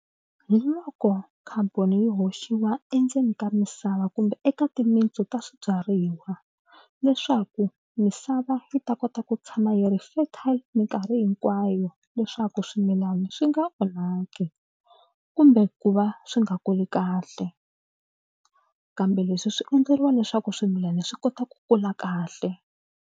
Hi loko carbon yi hoxiwa endzeni ka misava kumbe eka timintsu ta swibyariwa leswaku misava yi ta kota ku tshama yi ri fertile mikarhi hinkwayo leswaku swimilana swi nga onhaki kumbe ku va swi nga kuli kahle kambe leswi swi endleriwa leswaku swimilana swi kota ku kula kahle.